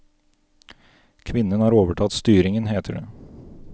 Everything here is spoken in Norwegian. Kvinnen har overtatt styringen, heter det.